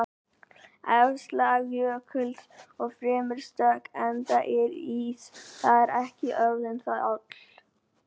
Efsta lag jökuls er fremur stökkt enda er ís þar ekki orðinn þjáll.